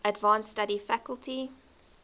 advanced study faculty